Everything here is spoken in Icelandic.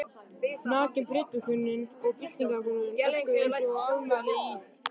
Nakin prédikunin og byltingaráróðurinn orkuðu einsog öfugmæli í